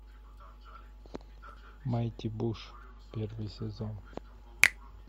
майти буш первый сезон